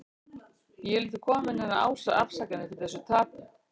Ég vil ekki koma með neinar afsakanir fyrir þessu tapi.